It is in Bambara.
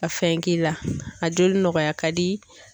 Ka fɛn k'i la a joli nɔgɔya ka di.